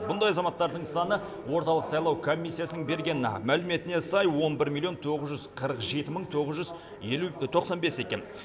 бұндай азаматтардың саны орталық сайлау комиссиясының берген мәліметіне сай он бір миллион тоғыз жүз қырық жеті мың тоғыз жүз елу тоқсан бес екен